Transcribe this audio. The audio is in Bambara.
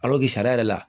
sariya yɛrɛ la